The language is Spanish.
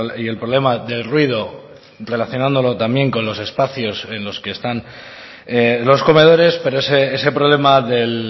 y el problema del ruido relacionándolo también con los espacios en los que están los comedores pero ese problema del